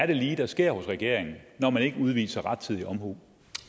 det lige er der sker hos regeringen når man ikke udviser rettidig omhu